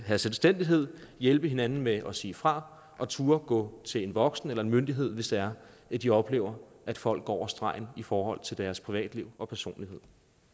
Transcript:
have selvstændighed hjælpe hinanden med at sige fra og turde gå til en voksen eller en myndighed hvis der er at de oplever at folk går over stregen i forhold til deres privatliv og personlighed